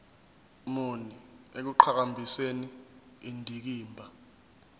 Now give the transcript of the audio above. muni ekuqhakambiseni indikimba